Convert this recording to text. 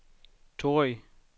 Torrig